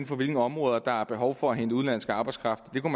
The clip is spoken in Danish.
for hvilke områder der er behov for at hente udenlandsk arbejdskraft man